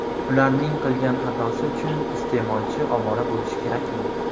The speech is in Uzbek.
Ularning qilgan xatosi uchun iste’molchi ovora bo‘lishi kerakmi?